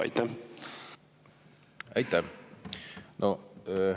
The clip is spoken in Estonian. Aitäh!